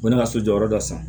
U nana so jɔyɔrɔ dɔ san